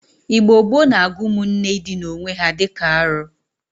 Igbo gboo na-agụ ụmụnne ịdịna owe ha di ka arọ.